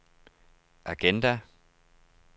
agenda